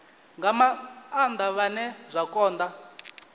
nga maanda vhane zwa konda